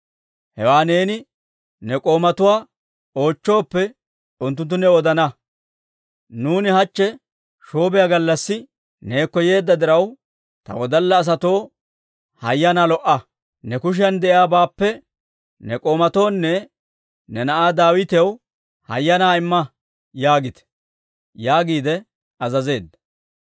Hewaa neeni ne k'oomatuwaa oochchooppe, unttunttu new odana. Nuuni hachche shoobiyaa gallassi neekko yeedda diraw, ta wodalla asatoo hayyanaa lo"a; ne kushiyan de'iyaabaappe ne k'oomatoonne ne na'aa Daawitaw hayyanaa imma yaagite» yaagiide azazeedda.